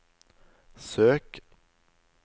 søk